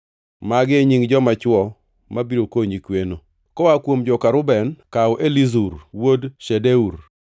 “Magi e nying joma chwo mabiro konyi kweno: “koa kuom joka Reuben, kaw Elizur wuod Shedeur;